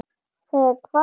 Þig hvað?